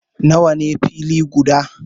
Nawa ne fili guda?